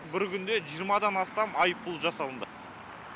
бір күнде жиырмадан астам айыппұл жасалынды